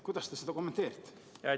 Kuidas te seda kommenteerite?